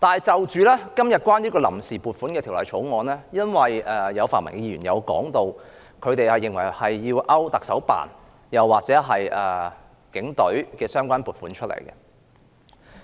就今天的臨時撥款決議案，有泛民議員認為要刪除行政長官辦公室或警隊的相關撥款。